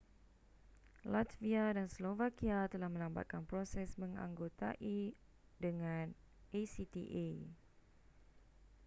latvia dan slovakia telah melambatkan proses menganggotai dengan acta